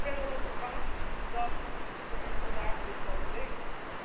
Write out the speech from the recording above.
En ik ben dan ook verbaasd dat u vandaag dit plan verdedigt.